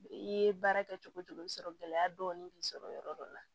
I ye baara kɛ cogo cogo i bɛ sɔrɔ gɛlɛya dɔɔnin k'i sɔrɔ yɔrɔ dɔ la